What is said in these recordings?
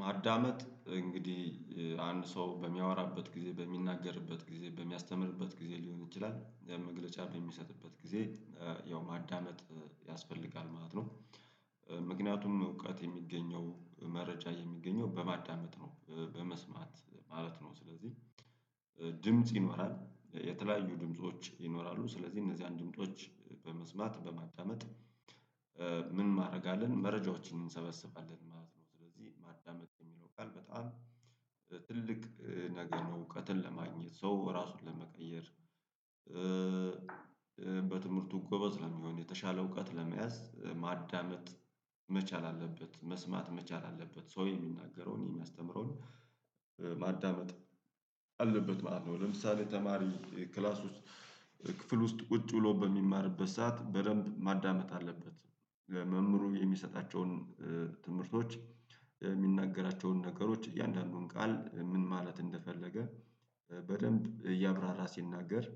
ማዳመጥ እንግዲህ አንድ ሰው በሚያወራበት ጊዜ በሚናገርበት ጊዜ በሚያስተምርበት ጊዜ ሊሆን ይችላል ያን መግለጫ በሚሰጥበት ጊዜ ያው ማዳነጥ ያስፈልጋል ማለት ነው ምክንያቱም እውቀት የሚገኘው መረጃ የሚገኘው በማዳመጥ ነው በመስማት ማለት ነው ስለዚህ ድምጽ ይኖራል የተለያዩ ድምጾች ይኖራሉ ስለዚህ እነዚያን ድምጾች በመስማት በማጣዳመጥ ምን ማድረግ አለን መረጃዎችን እንሰበስባለን ማለት ነው ስለዚህ ማዳመጥ የሚለው ቃል በጣም ትልቅ ነገር ነው እውቀትን ለማግኘት ሰው ራሱን ለመቀየር በትምህርቱ ጎበዝ ለሚሆን የተሻለ እውቀት ለመያዝ ማዳመጥ መቻል አለበት መስማት መቻል አለበት ሰው የሚናገረውን የሚያስተምረውን ማዳመጥ አለበት ማለት ነው ለምሳሌ ተማሪ ክላስ ውስጥ ክፍል ውስጥ ቁጭ ብሎ በሚማርበት ሰዓት በደንብ ማዳመጥ አለበት መምህሩ የሚሰጣቸውን ትምህርቶች የሚናገራቸውን ነገሮች እያንዳንዱን ቃል ምን ማለት እንደፈለገ በደንብ እያብራራ ሲናገር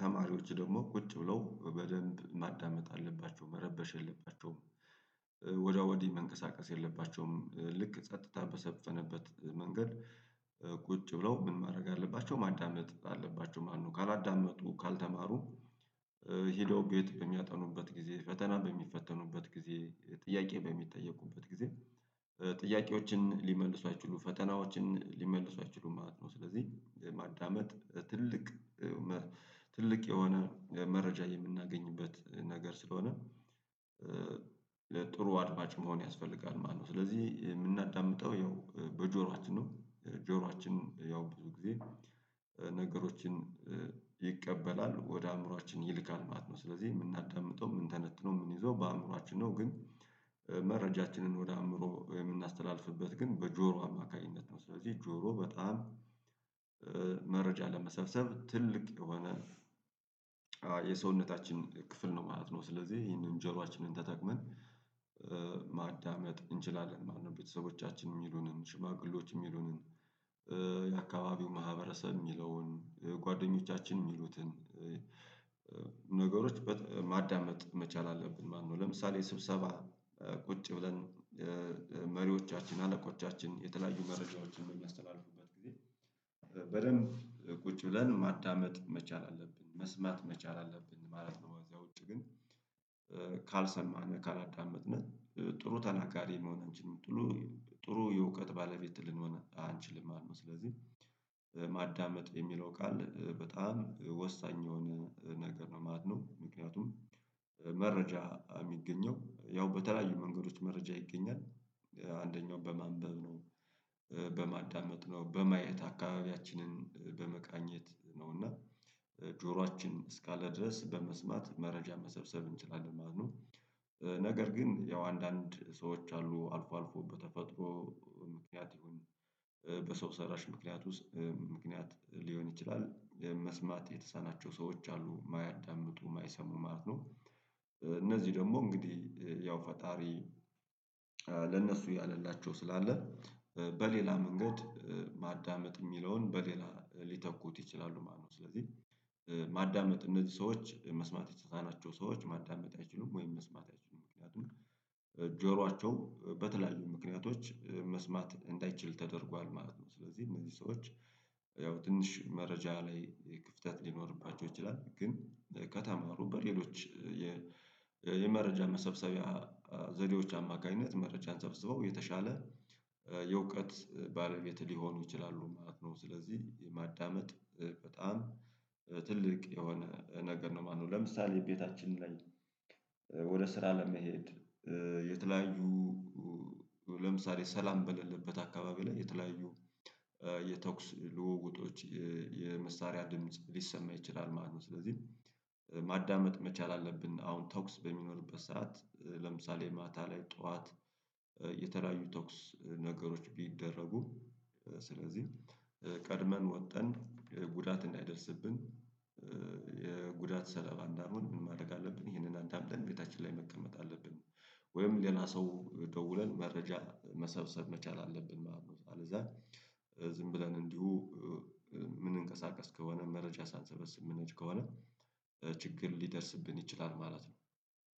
ተማሪዎች ደግሞ ቁጭ ብለው በደንብ ማዳመጥ አለባቸው መረበሽ የለባቸውም ወዲያ ወዲህ መንቀሳቀስ የለባቸውም ልክ ጸጥታ በሰፈነበት መንገድ ቁጭ ብለው ምን ማድረግ አለባቸው ማዳመጥ አለባቸው ማነው ካላዳመጡ ካልተማሩ ሄደው ቤት በሚያጠኑበት ጊዜ ፈተና በሚፈተኑበት ጊዜ ጥያቄ በሚጠየቁበት ጊዜ ጥያቄዎችን ሊመልሱ አይችሉም ፈተናዎችን ሊመልሱ አይችሉም ማለት ነው ስለዚህ ማዳመጥ ትልቅ ትልቅ የሆነ መረጃ የምናገኝበት ነገር ስለሆነ ለጥሩ አድማጭ መሆን ያስፈልጋል ማለት ነው ስለዚህ የምናዳምጠው ያው በጆሯችን ነው ጆሮአችን ያው ብዙ ጊዜ ነገሮችን ይቀበላል ወደ አእምሮአችን ይልካል ማለት ነው ስለዚህ የምናዳምጠው የምንተነትነው ምን ይዞ በአእምሮአችን ነው ግን መረጃችንን ወደ አእምሮ የምናስተላልፍበት ግን በጆሮ አማካኝነት ነው ስለዚህ ጆሮ በጣም መረጃ ለመሰብሰብ ትልቅ የሆነ የሰውነታችን ክፍል ነው ማለት ነው ስለዚህ ይሄንን ጆሮአችንን ተጠቅመን ማዳመጥ እንችላለን ማነው ቤተሰቦቻችን የሚሉንን ሽማግሌዎች የሚሉንን የአካባቢው ማህበረሰብ የሚለውን ጓደኞቻችን የሚሉትን ነገሮች ማዳመጥ መቻል አለብን ማነው ለምሳሌ ስብሰባ ቁጭ ብለን መሪዎቻችን አለቆቻችን የተለያዩ መረጃዎችን በሚያስተላልፉበት ጊዜ በደንብ ቁጭ ብለን ማዳመጥ መቻል አለብን መስማት መቻል አለብን ማለት ነው ከዚያ ውጪ ግን ካልሰማን ካላዳመጥን ጥሩ ተናጋሪ መሆን አንችልም ጥሩ የእውቀት ባለቤት ልንሆን አንችልም ማለት ነው ስለዚህ ማዳመጥ የሚለው ቃል በጣም ወሳኝ የሆነ ነገር ነው ማለት ነው ምክንያቱም መረጃ የሚገኘው ያው በተለያዩ መንገዶች መረጃ ይገኛል አንደኛው በማንበብ ነው በማዳመጥ ነው በማየት አካባቢያችንን በመቃኘት ነውና ጆሯችን እስካለ ድረስ በመስማት መረጃ መሰብሰብ እንችላለን ማለት ነው። ነገር ግን ያው አንዳንድ ሰዎች አሉ አልፎ አልፎ በተፈጥሮ ይሁን በሰው ሰራሽ ምክንያት ውስጥ ምክንያት ሊሆን ይችላል ይሄን መስማት የተሳናቸው ሰዎች አሉ የማያዳምጡ የማይሰሙ ማለት ነው እነዚህ ደግሞ እንግዲህ ያው ፈጣሪ ለነሱ ያለላቸው ስላለ በሌላ መንገድ ማዳመጥ የሚለውን በሌላ ሊተኩት ይችላሉ ማለት ነው ስለዚህ ማዳመጥ እነዚህ ሰዎች መስማት የተሳናቸው ሰዎች ማዳመጥ አይችሉም ወይም መስማት አይችሉም ምክንያቱም ጆሯቸው በተለያዩ ምክንያቶች መስማት እንዳይችል ተደርጓል ማለት ነው ስለዚህ እነዚህ ሰዎች ያው ትንሽ መረጃ ላይ ክፍተት ሊኖርባቸው ይችላል ግን ከተማሩ በሌሎች የመረጃ መሰብሰቢያ ዘዴዎች አማካኝነት መረጃን ሰብስበው የተሻለ የእውቀት ባለቤት ሊሆኑ ይችላሉ ማለት ነው ስለዚህ ማዳመጥ በጣም ትልቅ የሆነ ነገር ነው ማነው ለምሳሌ ቤታችን ላይ ወደ ስራ ለመሄድ የተለያዩ ለምሳሌ ሰላም በሌለበት አካባቢ ላይ የተለያዩ የተኩስ ልውውጦች የመሳሪያ ድምጽ ሊሰማ ይችላል ማለት ነው ስለዚህ ማዳመጥ መቻል አለብን አሁን ተኩስ በሚኖርበት ሰዓት ለምሳሌ ማታ ላይ ጠዋት የተለያዩ ተኩስ ነገሮች ቢደረጉ ስለዚህ ቀድመን ወተን ጉዳት እንዳይደርስብን የጉዳት ሰለባ እንዳንሆን ምን ማድረግ አለብን ይሄንን አንተ አምደን ቤታችን ላይ መቀመጥ አለብን ወይም ሌላ ሰው ደውለን መረጃ መሰብሰብ መቻል አለብን ማለት ነው አለዚያ ዝም ብለን እንዲሁ ምን እንቀሳቀስ ከሆነ መረጃ ሳንሰበስብ ምንሄድ ከሆነ ችግር ሊደርስብን ይችላል ማለት ነው